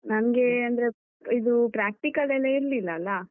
ನನ್ಗೆ ಅಂದ್ರೆ, ಇದು practical ಲೆಲ್ಲ ಇರ್ಲಿಲ್ಲ ಅಲ.